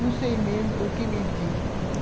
Não sei mesmo por que menti.